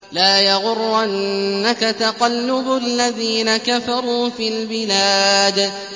لَا يَغُرَّنَّكَ تَقَلُّبُ الَّذِينَ كَفَرُوا فِي الْبِلَادِ